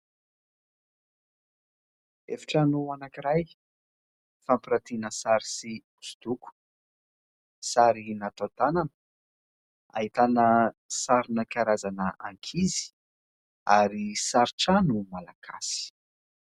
Efitrano anankiray fampiratiana sary sy hosodoko sary natao tanana, ahitana sarina karazana ankizy ary sary trano Malagasy.